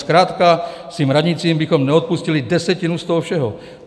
Zkrátka, svým radnicím bychom neodpustili desetinu z toho všeho.